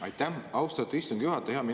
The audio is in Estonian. Aitäh, austatud istungi juhataja!